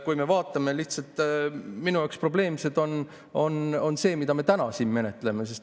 Kui me vaatame, lihtsalt minu jaoks probleemne on see, mida me täna siin menetleme.